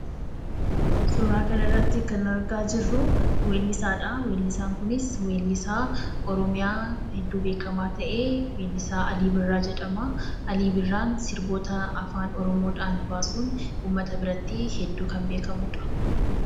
Suuraa kanarratti kan argaa jirru weellisaadha. Weellisaan kunis weellisaa oromiyaa hedduu beekamaa, ta'ee weellisaa Alii Birraa jedhama. Alii Birraan sirboota Afaan Oromoodhaan baasuun uummata biratti hedduu kan beekamudha.